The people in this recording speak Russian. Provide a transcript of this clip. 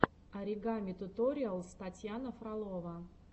оригами туториалс татьяна фролова